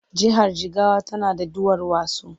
Jihar Jigawa tana da duwarwatsu.